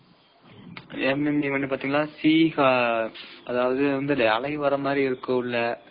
ஆஹ் என்னென்ன sea னா அலை வரமாதிரி event இருக்குது உள்ள